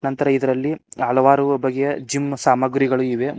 ನಂತರ ಇದರಲ್ಲಿ ಹಲವಾರು ಬಗ್ಗೆಯ ಜಿಮ್ ಸಾಮಗ್ರಿಗಳು ಇವೆ.